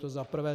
To za prvé.